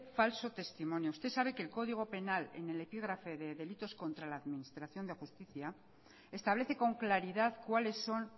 falso testimonio usted sabe que el código penal en el epígrafe de delitos contra la administración de justicia establece con claridad cuales son